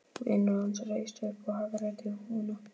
Vinur hans reis upp og hagræddi húfunni.